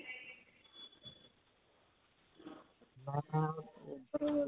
ਮੈਂ .